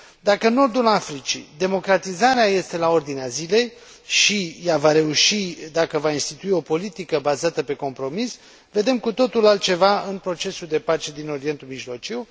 Dacă în nordul Africii democratizarea este la ordinea zilei și ea va reuși dacă va institui o politică bazată pe compromis, vedem cu totul altceva în procesul de pace din Orientul Mijlociu.